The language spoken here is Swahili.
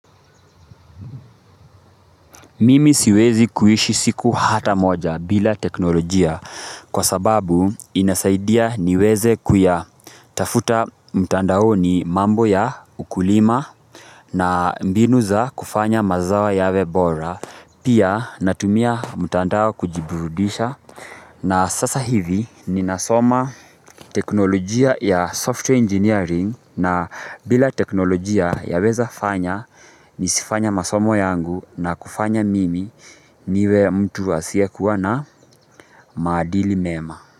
Mimi siwezi kuishi siku hata moja bila teknolojia kwa sababu inasaidia niweze kuyatafuta mtandaoni mambo ya ukulima na mbinu za kufanya mazao yawe bora pia natumia mtandao kujiburudisha na sasa hivi ninasoma teknolojia ya software engineering na bila teknolojia yaweza fanya nisifanye masomo yangu na kufanya mimi niwe mtu asiyekuwa na maadili mema.